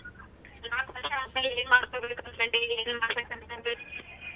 ನಾಲ್ಕ ವರ್ಷ ಆದಮೇಲೆ ಏನ್ ಮಾಡ್ಬೇಕು ಅನಕೊಂಡಿ ಏನೇನ್ ಮಾಡ್ಬೇಕು ಅನಕೊಂಡಿ?